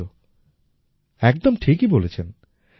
সত্যিই তো একদম ঠিকই বলেছেন